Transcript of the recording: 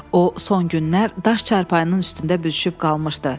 O son günlər daş çarpayının üstündə büzüşüb qalmışdı.